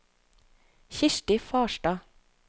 Kirsti Farstad